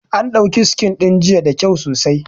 An dauki Scene ɗin jiya da kyau sosai